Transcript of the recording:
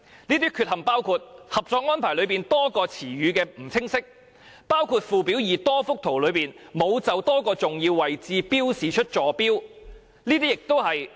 這些缺陷包括：《合作安排》內多個詞語含意不清晰，包括附表2多幅圖則內沒有就多個重要位置標示出坐標。